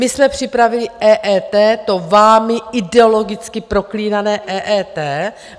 My jsme připravili EET, to vámi ideologicky proklínané EET.